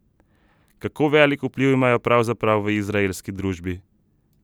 Kako velik vpliv imajo pravzaprav v izraelski družbi?